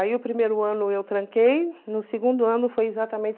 Aí o primeiro ano eu tranquei, no segundo ano foi exatamente